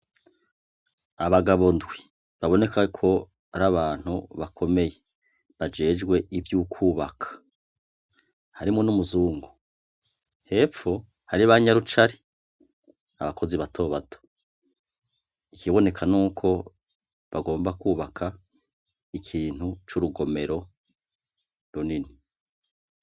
Abagabo ndwi, baboneka ko ari abantu bakomeye, bajejwe ivyo kubaka, harimwo n'umuzungu, hepfo hari banyarucari abakozi batobato, ikiboneka n'uko bagomba kubaka ikintu c'urugomero runini.